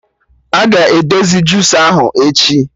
Aga edozi jusa ahụ echi